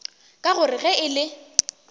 ka gore ge e le